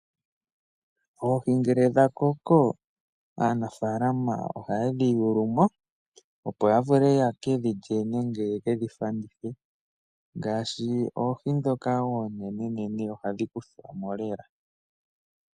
Oohi ngele dha koko, aanafalama oha yedhi yuulumo opo ya vule yekedhi lye nenge yekedhi fandithe, ngaashi oohi dhoka oonenenene hadhi kuthwamo lela